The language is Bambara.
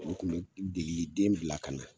U kun be degeli den bila ka na